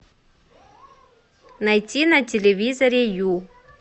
найти на телевизоре ю